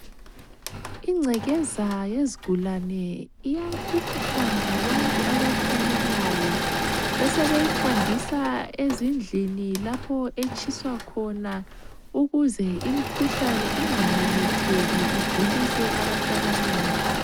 Ingcekeza yezigulane iyabuthwa ngabantu abathanyelayo, besebeyihambisa ezindlini lapho etshiywa khona ukuze imikhuhlane ingamemetheki igulise abantu abanengi.